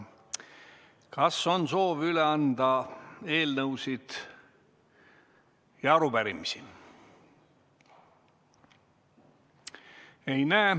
Kas on soovi üle anda eelnõusid ja arupärimisi?